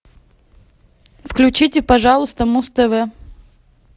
включите пожалуйста муз тв